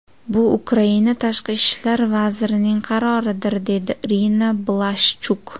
Bu Ukraina tashqi ishlar vazirining qaroridir”, dedi Irina Blashchuk.